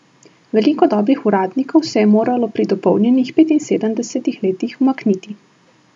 Veliko dobrih uradnikov se je moralo pri dopolnjenih petinsedemdesetih letih umakniti.